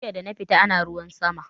Jiya dana fita ana ruwan sama